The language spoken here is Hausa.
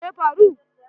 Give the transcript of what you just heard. Me ya faru?